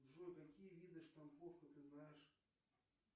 джой какие виды штамповок ты знаешь